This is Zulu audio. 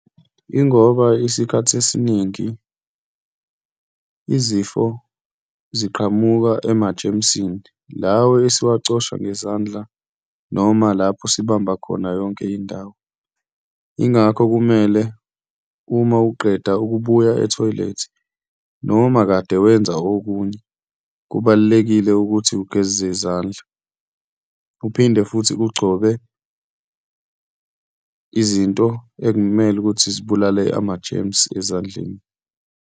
Ingoba isikhathi esiningi izifo ziqhamuka ema-germs-ini lawa esiwacosha ngezandla, noma lapho sibamba khona yonke indawo. Yingakho kumele uma uqeda ukubuya ethoyilethi noma kade wenza okunye, kubalulekile ukuthi ugeze izandla, uphinde futhi ugcobe izinto ekumele ukuthi zibulale ama-germs ezandleni.